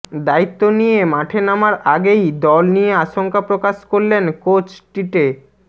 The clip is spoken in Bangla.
দায়িত্ব নিয়ে মাঠে নামার আগেই দল নিয়ে আশঙ্কা প্রকাশ করলেন কোচ টিটে